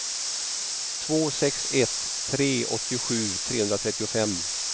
två sex ett tre åttiosju trehundratrettiofem